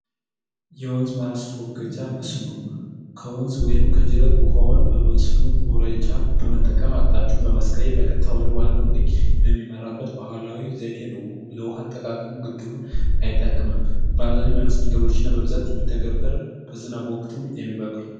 የወንዝ ማስወገጃ መስኖ ከወንዝ ወይንም ከጅረት ውሀዉን በመስኖ በመጠቀም አቅጣጫዉን ማስቀየር በቀጥታ ወደዋናዉ ቤጅ በሚመራበት ባህላዊ ዘዴ ነዉ ለዉሀ አጠቃቀም ግድቡ አይጠቅምም በአብዛኛዉ ሚያነሱት ነገሮች ሚተገበር በዝናብ ወቅት ሚበቅል ነዉ።